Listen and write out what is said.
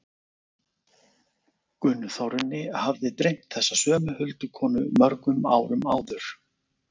Gunnþórunni hafði dreymt þessa sömu huldukonu mörgum árum áður.